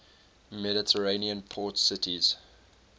mediterranean port cities